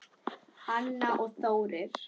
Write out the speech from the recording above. Anna og Þórir.